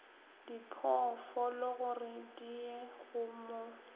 diphoofologore di ye go mo